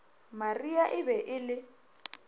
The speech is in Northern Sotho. maria e be e le